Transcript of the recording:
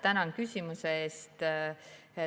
Tänan küsimuse eest.